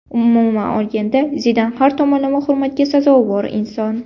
Umuman olganda, Zidan har tomonlama hurmatga sazovor inson.